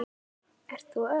Ert þú Örn?